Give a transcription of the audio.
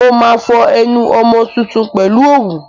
Mo máa fọ ẹnu ọmọ tuntun pèlú òwú.